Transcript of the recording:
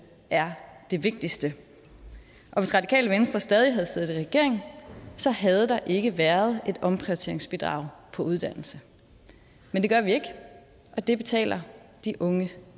er det vigtigste og hvis radikale venstre stadig havde siddet i regering havde der ikke været et omprioriteringsbidrag på uddannelse men det gør vi ikke og det betaler de unge